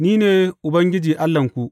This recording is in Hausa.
Ni ne Ubangiji Allahnku.